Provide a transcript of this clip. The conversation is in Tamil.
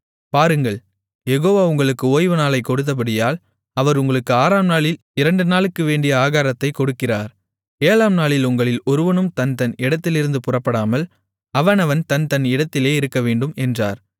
பாருங்கள் யெகோவா உங்களுக்கு ஓய்வுநாளை கொடுத்தபடியால் அவர் உங்களுக்கு ஆறாம்நாளில் இரண்டு நாளுக்கு வேண்டிய ஆகாரத்தைக் கொடுக்கிறார் ஏழாம்நாளில் உங்களில் ஒருவனும் தன்தன் இடத்திலிருந்து புறப்படாமல் அவனவன் தன் தன் இடத்திலே இருக்கவேண்டும் என்றார்